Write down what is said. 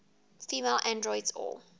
female androids or